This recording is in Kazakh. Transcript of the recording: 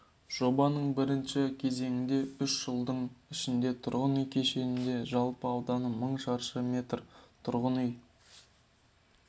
жобаның бірінші кезеңінде үш жылдың ішінде тұрғын үй кешенінде жалпы ауданы мың шаршы метр тұрғын үй